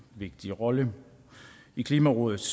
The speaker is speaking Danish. vigtig rolle i klimarådets